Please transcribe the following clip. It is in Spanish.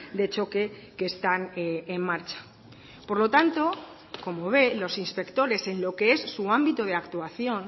de choque que están en marcha por lo tanto como ve los inspectores en lo que es su ámbito de actuación